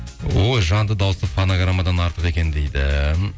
ой жанды дауысы фонограммадан артық екен дейді